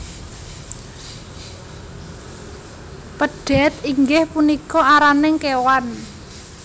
Pedhet inggih punika araning kewan